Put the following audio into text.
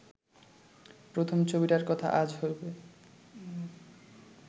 প্রথম ছবিটার কথা আজ হইবে